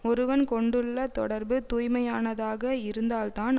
ஒருவன் கொண்டுள்ள தொடர்பு தூய்மையானதாக இருந்தால்தான்